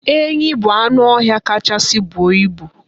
Enyi bụ anụ ọhịa kachasị buo ibu.